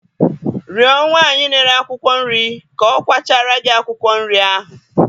Rịọ nwanyị na-ere akwụkwọ nri ka ọ kwachara gị akwụkwọ nri ahụ.